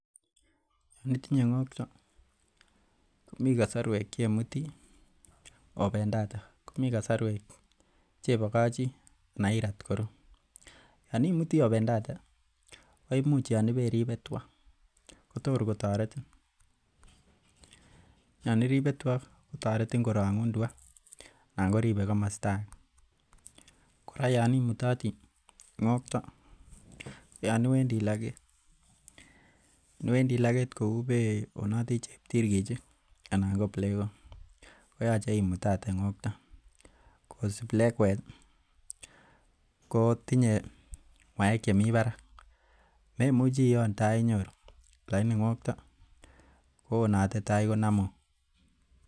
Initinye ng'okto komii kasorwek cheimuti obendote komii kasorwek chebokochi anan irat koru. Yoon imutii obendote ko imuche Yoon iperibe tua kotokor kotoretin Yoon iribe tua kotoretin korong'un tua anan ko ribe komosto age. Kora Yoon imutatii ng'okto ko Yoon iwendii logeet, iwendii logeet kou ibeonoti cheptirkichik anan ko iplkok koyoche imutote ng'okto bcause iplekwet kotinye ng'uaek chemii barak memuchi ioon taainyoru lagini ng'okto ko onaote tai komomu